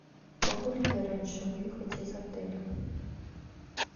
могу ли я раньше выехать из отеля